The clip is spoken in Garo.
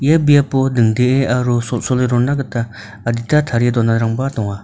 ia biapo dingdee aro sol·sole rona gita adita tarie donarangba donga.